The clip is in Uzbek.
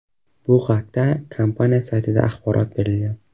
Bu haqda kompaniya saytida axborot berilgan .